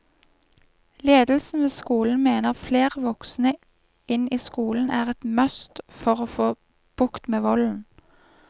Ledelsen ved skolen mener flere voksne inn i skolen er et must for å få bukt med volden.